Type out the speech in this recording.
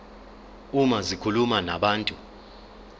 uma zikhuluma nabantu